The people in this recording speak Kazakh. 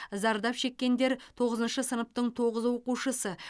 зардап шеккендер тоғызыншы сыныптың тоғыз оқушысы